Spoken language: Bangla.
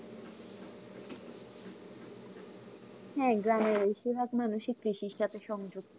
হ্যাঁ গ্রামের বেশিরভাগ মানুষই কৃষি সাথে সংযুক্ত